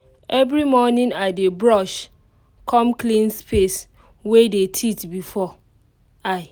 every morning i dey brush com clean space wey dey teeth before i.